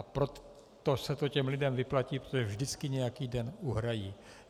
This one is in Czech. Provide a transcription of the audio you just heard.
A proto se to těm lidem vyplatí, protože vždycky nějaký den uhrají.